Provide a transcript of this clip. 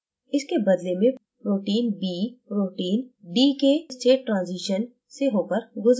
इसके बदले में protein b protein d के state ट्रांज़ीशन से होकर गुजरता है